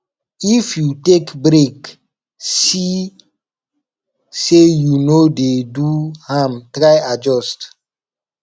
if you take break see say you no de do am try adjust